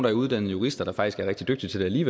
er uddannede jurister der faktisk er rigtig dygtige